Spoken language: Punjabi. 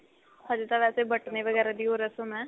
ਹਜੇ ਤਾਂ ਵੈਸੇ ਬਟਨੇ ਵਗੈਰਾ ਦੀ ਓ ਰਸਮ ਏ